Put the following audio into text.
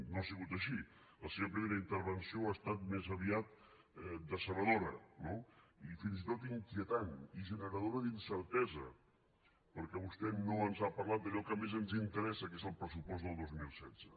no ha sigut així la seva primera intervenció ha estat més aviat decebedora no i fins i tot inquietant i generadora d’incertesa perquè vostè no ens ha parlat d’allò que més ens interessa que és el pressupost del dos mil setze